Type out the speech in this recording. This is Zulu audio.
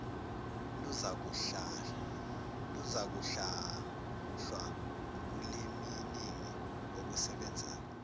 luzakuhlahlwa wubuliminingi obusebenzayo